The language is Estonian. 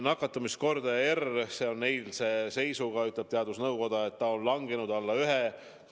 Nakatamiskordaja R oli eilse seisuga teadusnõukoja teatel langenud alla 1.